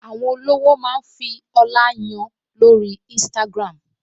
Àwọn olówó máa ń fi ọlá yan lórí Instagram